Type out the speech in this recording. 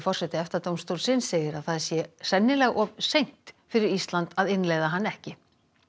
forseti EFTA dómstólsins segir að það sé sennilega of seint fyrir Ísland að innleiða hann ekki